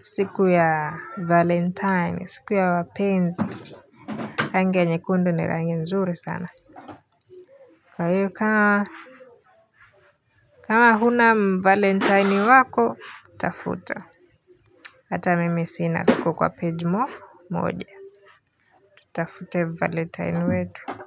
siku ya valentine siku ya wapenzi rangi ya nyekundu ni rangi nzuri sana kwa hiyo kama kama huna valentine wako utafuta hata mimi sina tuko kwa page moja utafute valentine wetu. Kwa hiyo.